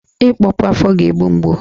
Ịkpọpu afọ ga-egbu mgbu